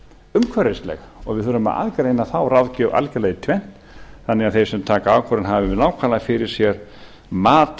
umhverfisleg og við þurfum að aðgreina þá ráðgjöf algerlega í tvennt þannig að þeir sem taka ákvörðun hafi nákvæmlega fyrir sér mat